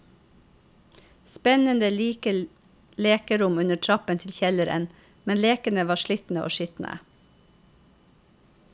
Spennende, lite lekerom under trappen til kjelleren, men lekene var slitne og skitne.